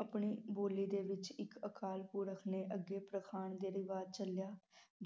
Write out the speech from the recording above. ਆਪਣੀ ਬੋਲੀ ਦੇ ਵਿਚ ਇਕ ਅਕਾਲ ਪੁਰਖ ਨੇ ਅੱਗੇ ਪਰਖਣ ਦਾ ਰਿਵਾਜ ਚਲਿਆ